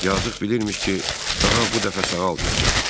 Yazıq bilirmiş ki, daha bu dəfə sağalmayacaq.